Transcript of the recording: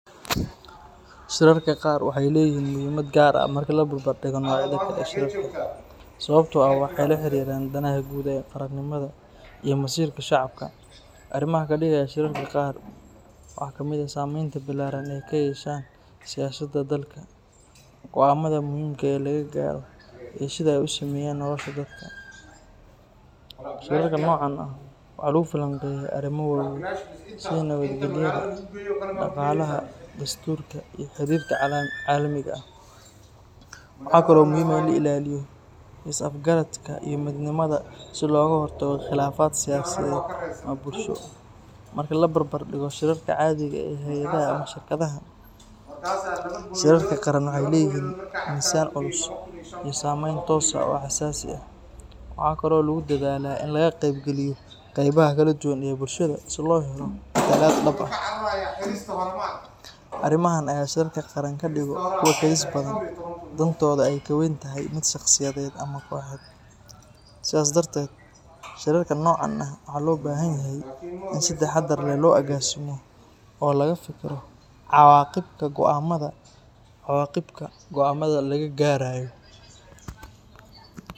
Shirarka qar waxay leeyihiin muhiimad gaar ah marka la barbardhigo noocyada kale ee shirarka, sababtoo ah waxay la xiriiraan danaha guud ee qaranimada iyo masiirka shacabka. Arimaha kadigaya shirarka qaran waxaa kamid ah saamaynta ballaaran ee ay ku yeeshaan siyaasadda dalka, go'aamada muhiimka ah ee laga gaaro, iyo sida ay u saameeyaan nolosha dadka. Shirarka noocan ah waxaa lagu falanqeeyaa arrimo waaweyn sida nabadgelyada, dhaqaalaha, dastuurka, iyo xiriirka caalamiga ah. Waxa kale oo muhiim ah in la ilaaliyo is-afgaradka iyo midnimada si looga hortago khilaafaad siyaasadeed ama bulsho. Marka la barbar dhigo shirarka caadiga ah ee hay'adaha ama shirkadaha, shirarka qaran waxay leeyihiin miisaan culus iyo saamayn toos ah oo xasaasi ah. Waxaa kale oo lagu dadaalaa in laga qeybgeliyo qeybaha kala duwan ee bulshada si loo helo matalaad dhab ah. Arimahan ayaa shirarka qaran ka dhiga kuwo kadis badan leh, dantoodu ay ka weyn tahay mid shaqsiyeed ama kooxeed. Sidaas darteed, shirarka noocan ah waxaa loo baahan yahay in si taxaddar leh loo agaasimo oo looga fekero cawaaqibka go'aamada laga gaarayo.